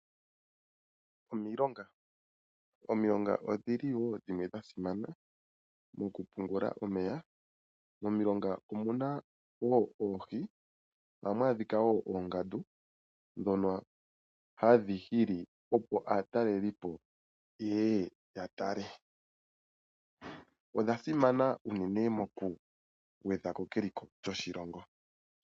Omilonga odhili wo dhimwe dha simana moku pungula omeya. Momilonga omuna oohi, ohamu adhika woo oongandu ndhono hadhi hili opo aatalelipo yeye ya tale. Odha simana unene moku gwedhako keliko lyoshilongo.